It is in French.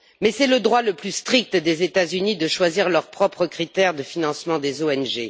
Mais c'est le droit le plus strict des États Unis de choisir leurs propres critères de financement des ONG.